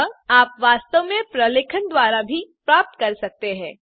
अतः आप वास्तव में प्रलेखन द्वारा भी प्राप्त कर सकते हैं